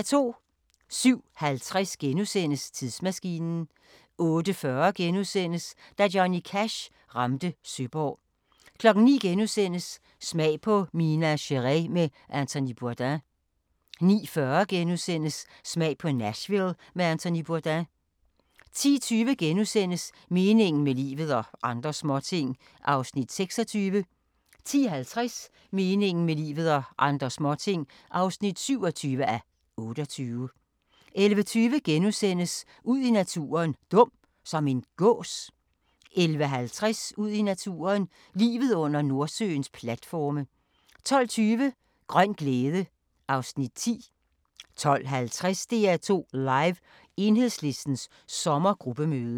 07:50: Tidsmaskinen * 08:40: Da Johnny Cash ramte Søborg * 09:00: Smag på Minas Gerais med Anthony Bourdain * 09:40: Smag på Nashville med Anthony Bourdain * 10:20: Meningen med livet – og andre småting (26:28)* 10:50: Meningen med livet – og andre småting (27:28) 11:20: Ud i naturen: Dum – som en gås? * 11:50: Ud i naturen: Livet under Nordsøens platforme 12:20: Grøn glæde (Afs. 10) 12:50: DR2 Live: Enhedslistens sommergruppemøde